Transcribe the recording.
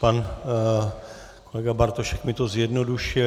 Pan kolega Bartošek mi to zjednodušuje.